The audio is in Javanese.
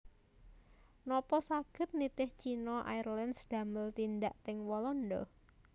Nopo saget nitih China Airlines damel tindak teng Walanda